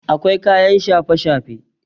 akwai kayan shafe-shafe